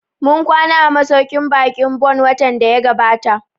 Mun kwana a masauƙin baƙin Bon watan da ya gabata